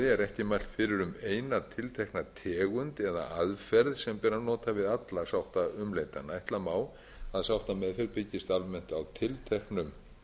er ekki mælt fyrir um eina tiltekna tegund eða aðferð sem ber að nota við alla sáttaumleitanina ætla má að sáttameðferð byggist almennt á tilteknum